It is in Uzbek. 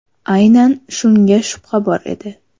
Aynan shunga shubha bor edi.